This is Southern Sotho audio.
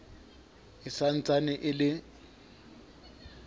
e sa ntsane e le